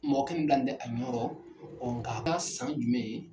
Mɔgɔ kelen de bilalen bɛ a ɲɔrɔ nka a ka san jumɛn?